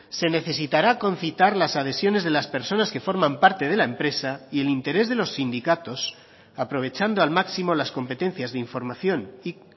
se necesitará concitar las adhesiones de las personas que forman parte de la empresa y el interés de los sindicatos aprovechando al máximo las competencias de información y